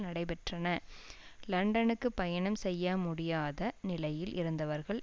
நடைபெற்றன லண்டனுக்கு பயணம் செய்ய முடியாத நிலையில் இருந்தவர்கள்